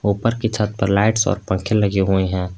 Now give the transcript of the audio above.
ऊपर की छत पर लाइट्स और पंखे लगे हुए हैं।